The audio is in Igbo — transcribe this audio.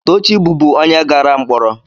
Tochi bụbu onye gara mkpọrọ.